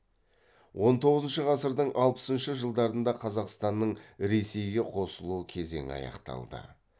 он тоғызыншы ғасырдың алпысыншы жылдарында қазақстанның ресейге қосылу кезеңі аяқталды